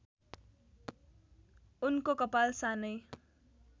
उनको कपाल सानै